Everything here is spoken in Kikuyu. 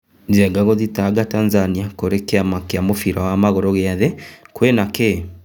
Njenga gũthitanga Tanzania kũrĩ kĩama kĩa mũbira wa magũrũ gĩa thĩ - kwĩna kı?